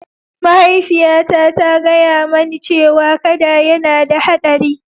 Mahaifiyata ta gaya mani cewa kada yana da haɗari.